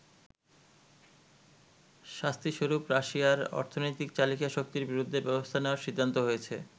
শাস্তিস্বরূপ রাশিয়ার অর্থনৈতিক চালিকা শক্তির বিরুদ্ধে ব্যবস্থা নেয়ার সিদ্ধান্ত হয়েছে।